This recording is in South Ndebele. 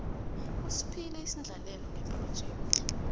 usiphile isendlalelo ngephrojekhthi